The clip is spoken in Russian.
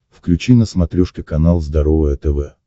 включи на смотрешке канал здоровое тв